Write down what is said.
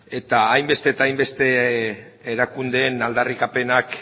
eta hainbeste eta hainbeste erakundeen aldarrikapenak